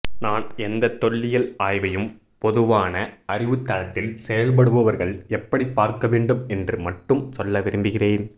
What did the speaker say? நான் எந்த தொல்லியல் ஆய்வையும் பொதுவான அறிவுத்தளத்தில் செயல்படுபவர்கள் எப்படிப்பார்க்கவேண்டும் என்று மட்டும் சொல்ல விரும்புகிறேன்